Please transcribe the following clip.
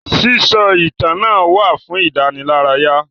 Sísọ ìtàn náà wà fún ìdánilárayá.